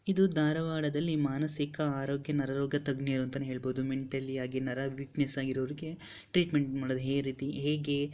ಇದು ದಾರವಾಡದಲ್ಲಿ ಮಾನಸಿಕ ಆರೋಗ್ಯ ನರರೋಗ ತಜ್ಞರು ಅಂತಾನೆ ಹೇಳಬಹುದು ಮೆಂಟಲಿ ಯಾಗಿ ನರ ವೀಕ್ನೆಸ್ ಹಾಗಿರುವವರಿಗೆ ಟ್ರೀಟ್ಮೆಂಟ್ ಮಾಡೋದು ಹೇ ರೀತಿ ಹೇಗೆ --